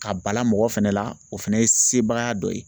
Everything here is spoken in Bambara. Ka bala mɔgɔ fɛnɛ la o fɛnɛ ye sebaya dɔ ye.